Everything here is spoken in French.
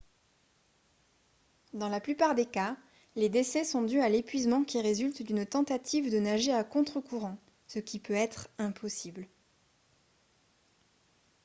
dans la plupart des cas les décès sont dus à l'épuisement qui résulte d'une tentative de nager à contre-courant ce qui peut être impossible